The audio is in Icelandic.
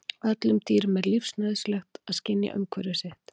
öllum dýrum er lífsnauðsynlegt að skynja umhverfi sitt